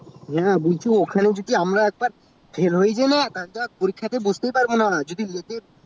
হ্যাঁ বলছি ওখানে একবার আমরা fail হয়ে গেলে আর বসতে পাবনা